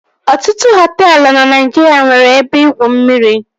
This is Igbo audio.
Ọtụtụ hoteelu na Naijiria nwere ebe igwu mmiri